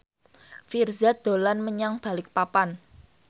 Virzha dolan menyang Balikpapan